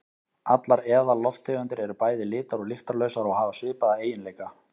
Allar eðallofttegundir eru bæði litar- og lyktarlausar og hafa svipaða eiginleika.